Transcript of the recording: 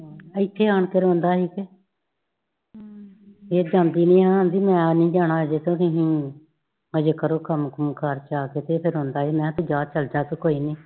ਇਥੇ ਆਣ ਕੇ ਰੋਂਦਾ ਸੀ ਤੇ ਫੇਰ ਜਾਂਦੀ ਨੀ ਆਂਦੀ ਨੀ ਜਾਣਾ ਨੀ ਹਜੇ ਕਰੋ ਕਮ ਕੁਮ ਘਰ ਜਾ ਕੇ ਤੇ ਫੇਰ ਰੋਂਦਾ ਸੀ ਤੇ ਮੈ ਕਯਾ ਚਲ ਜਾ ਕੋਈ ਨੀ